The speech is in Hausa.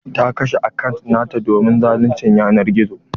Ta kashe akant nata domin zaluncin yanar gizo.